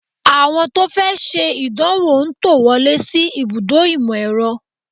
Àwọn tó fẹ́ ṣe ìdánwò ń tò wọlé sí ibùdó ìmọ̀-ẹ̀rọ